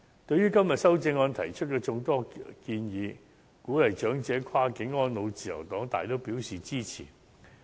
對於今天修正案提出的眾多建議，鼓勵長者跨境安老，自由黨大都表示支持。